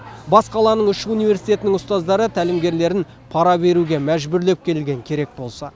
бас қаланың үш университетінің ұстаздары тәлімгерлерін пара беруге мәжбүрлеп келген керек болса